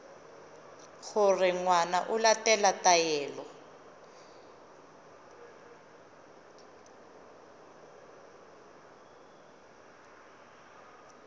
gore ngwana o latela taelo